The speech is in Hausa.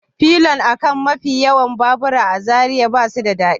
Pilion a kan mafi yawan babura a Zariya ba su da daɗi